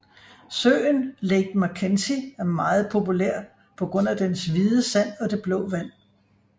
Søen Lake McKenzie er meget populær på grund af dens hvide sand og det blå vand